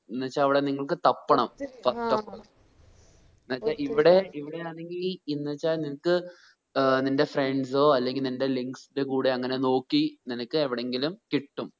എന്ന് വെച്ച അവിടെ നിങ്ങക്ക് തപ്പണം ഇവിടെ ഇവിടെ ആണെങ്കി എന്ന് വെച്ച നിനക്ക് ഏർ നിന്റെ friends ഓ അല്ലെങ്കിൽ നിന്റെ കൂടെ അങ്ങനെ നോക്കി നിനക്ക് എവിടെങ്കിലും കിട്ടും